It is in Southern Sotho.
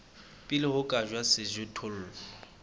pele ho ka jalwa sejothollo